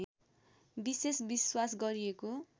विशेष विश्वास गरिएको